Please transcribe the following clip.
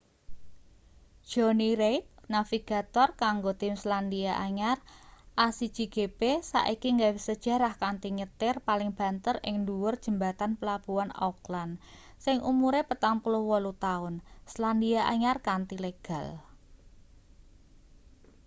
johny reid navigator kanggo tim selandia anyar a1gp saiki gawe sejarah kanthi nyetir paling banter ing ndhuwur jembatan pelabuhan auckland sing umure 48-taun selandia anyar kanthi legal